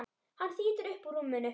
Hann þýtur upp úr rúminu.